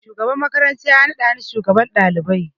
Shugaban makaranta ya naɗa ni shugaban ɗalibai